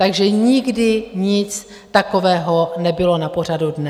Takže nikdy nic takového nebylo na pořadu dne.